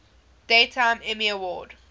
daytime emmy award